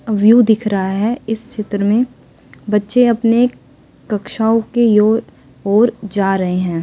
View दिख रहा है इस चित्र में बच्चे अपने कक्षाओं के यो ओर जा रहे हैं।